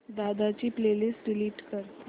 दादा ची playlist delete कर